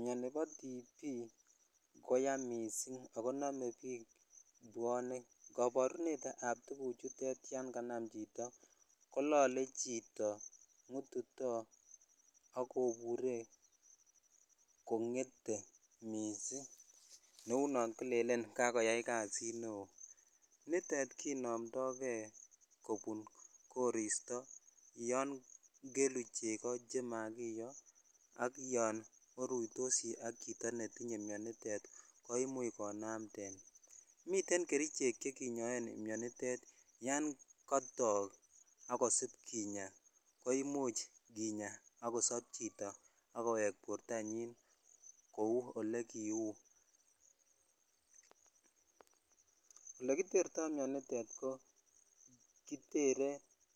Miani bo TB koya missing akonome biik bwonek ,koborunetab tukuchutet yanganam chito kolole chito, ng'ututoo akobore kong'ete missing neu non kilelen kakoyai kasit neo nitete kinomdogee kobun koristo yongelu cheko chemakiyo ak yon oruitosi ak chito netinye mianitet koimuch konamden miten kerichek chekinyoen mianitet yan kotoo akosip kinyaa koimuch kinyaa akosop chito akoweke bortanyin kou olekiu elekiterto mianito ko kitere